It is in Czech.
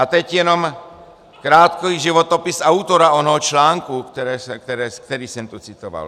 A teď jenom krátký životopis autora onoho článku, který jsem tu citoval.